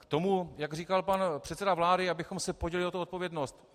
K tomu, jak říkal pan předseda vlády, abychom se podělili o tu odpovědnost.